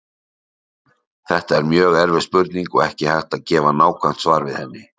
Þetta er mjög erfið spurning og ekki er hægt að gefa nákvæmt svar við henni.